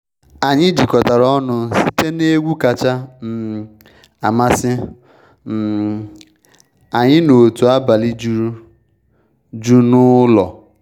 Anyị jikọtara ọnụ site n’egwu kacha um amasị um anyị n’otu abalị juru um jụụ n’ụlọ.